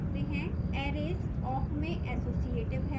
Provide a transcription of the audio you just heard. arrays awk में associative हैं